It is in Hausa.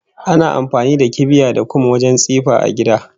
Ana amfani da kibiya da kum wajen tsifa a gida